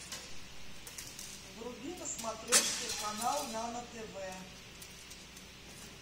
вруби на смотрешке канал нано тв